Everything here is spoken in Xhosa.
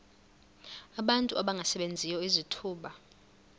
abantu abangasebenziyo izithuba